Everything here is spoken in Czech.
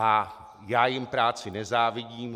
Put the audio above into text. A já jim práci nezávidím.